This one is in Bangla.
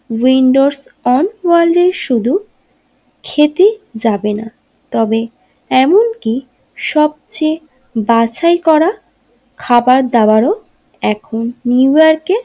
উইন্ডোজ অন ওয়ালজের শুধু খেতে যাবেনা তবে এমনকি সবচেয়ে বাছাই করা খাবার দাবারও এখন নিউ ইয়র্কে।